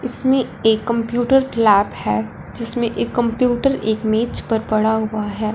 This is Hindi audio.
इसमें ये कंप्यूटर ग्लॅब हैं जिसमें एक कंप्यूटर एक मेज पर पड़ा हुआ हैं।